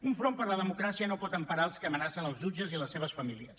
un front per la democràcia no pot emparar els que amenacen els jutges i les seves famílies